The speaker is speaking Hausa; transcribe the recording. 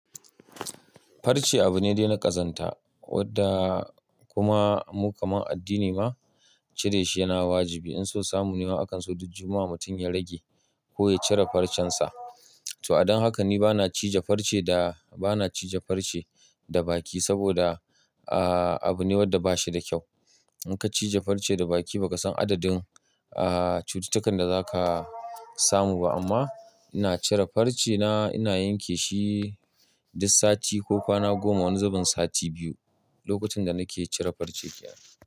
Farce abu ne dai na ƙazanta wadda kuma mu kaman addini ma cire shi yana wajibi. In so samu ne wa akan so duk jummaa mutum ya rage ko ya cire farcen sa. To a dan haka ni bana cije farce da bana cije farce da baki saboda ah abu ne wadda ba shi da kyau. In ka cije farce da baki ba ka san adadin ah cututtukan da za ka samu ba. Amma ina cire farce na ina yanke shi duk sati ko kwana goma wani zaben sati biyu lokutan da nake cire farcen giya.